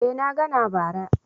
Eh na ga na bara.